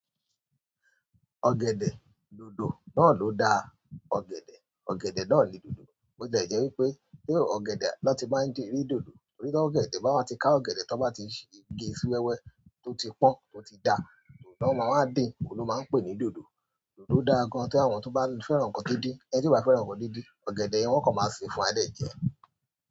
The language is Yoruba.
Ọ̀gẹ̀dẹ̀ dòdò náà ló da ọ̀gẹ̀dẹ̀, ọ̀gẹ̀dẹ̀ náà ni dòdò. Bo tie jẹ́ wípé bí ọ̀gẹ̀dẹ̀ bá ti máa rí dòdò, torí pé ọ̀gẹ̀dẹ̀ bá máa ti ká ọ̀gẹ̀dẹ̀ tó bá ti gé sí wẹ́wẹ́ tó ti pọ́n, tó ti da, dòdò náà máa máa dín, òun ló máa ń pè ní dòdò. Dòdò dára gan an tí àwọn tó bá fẹ́ràn nǹkan díndín, ẹni ti obá fẹ́ràn nǹkan díndín, ọ̀gẹ̀dẹ̀ yẹn wọ́n kọ́ máa ṣe fún a de jẹ.